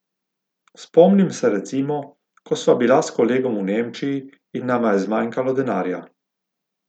Spomnim se recimo, ko sva bila s kolegom v Nemčiji in nama je zmanjkalo denarja.